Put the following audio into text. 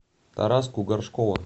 тараску горшкова